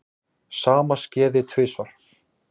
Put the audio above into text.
Sama skeði tvisvar.